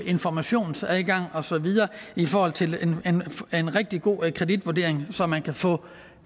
informationsadgang og så videre i forhold til en rigtig god kreditvurdering så man kan få